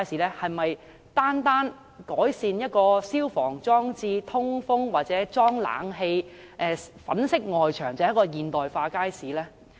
是否單單改善了消防裝置和通風設備，或安裝了冷氣機及粉飾了外牆，便是現代化街市呢？